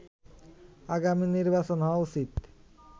আগামী নির্বাচন হওয়া উচিত